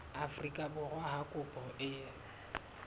afrika borwa ha kopo e